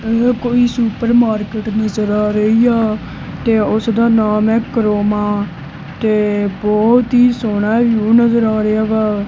ਇਹ ਕੋਈ ਸੁਪਰਮਾਰਕਿਟ ਨਜਰ ਆ ਰਹੀ ਆ ਤੇ ਉਸਦਾ ਨਾਮ ਹੈ ਕਰੋਮਾ ਤੇ ਬਹੁਤ ਹੀ ਸੋਹਣਾ ਵਿਊ ਨਜਰ ਆ ਰਿਹਾ ਵਾ।